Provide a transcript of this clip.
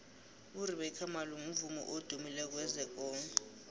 urebeca malope mvumi odumileko wezekolo